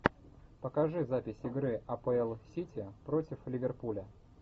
покажи запись игры апл сити против ливерпуля